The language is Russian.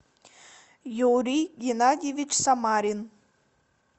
юрий геннадьевич самарин